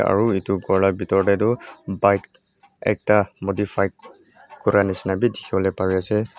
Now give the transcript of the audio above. aro etu kor la bitor dae toh bike ekta modified kura nishina bi dikipolae pari asae.